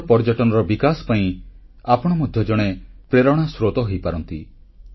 ଦେଶରେ ପର୍ଯ୍ୟଟନର ବିକାଶ ପାଇଁ ଆପଣ ମଧ୍ୟ ଜଣେ ପ୍ରେରଣାସ୍ରୋତ ହୋଇପାରନ୍ତି